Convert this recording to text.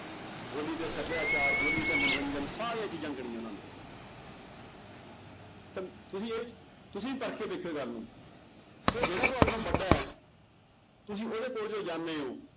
ਬੋਲੀ ਤੇ ਸਭਿਆਚਾਰ, ਬੋਲੀ ਤੇ ਮੰਨੋਰੰਜਨ ਸਾਰੀਆਂ ਚੀਜ਼ਾਂ ਗਿਣੀਆਂ ਉਹਨਾਂ ਨੇ ਤੇ ਤੁਸੀਂ ਇਹ ਤੁਸੀਂ ਪੜ੍ਹਕੇ ਦੇਖਿਓ ਗੱਲ ਨੂੰ ਕਿ ਜਿਹੜਾ ਤੁਹਾਡੇ ਨਾਲੋਂ ਵੱਡਾ ਹੈ ਤੁਸੀਂ ਉਹਦੇ ਕੋਲ ਜਦੋਂ ਜਾਂਦੇ ਹੋ